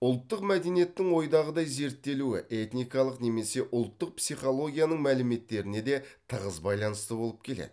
ұлттық мәдениеттің ойдағыдай зерттелуі этникалық немесе ұлттық психологияның мәліметтеріне де тығыз байланысты болып келеді